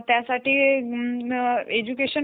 असं मी वाचलं आहे कुठंतरी